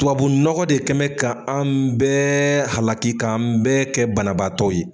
Tubabu nɔgɔ de kɛ bɛ ka an bɛɛ halaki k' an bɛɛ kɛ banabaatɔ ye.